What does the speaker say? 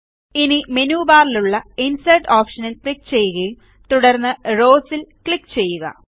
ഇനി മെനു ബാറിലുള്ള ഇൻസെർട്ട് ഓപ്ഷനിൽ ക്ലിക്ക് ചെയ്യുകയും തുടർന്ന് റൌസ് ൽ ക്ലിക്ക് ചെയ്യുക